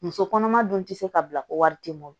Muso kɔnɔma dun ti se ka bila ko wari ti bɔ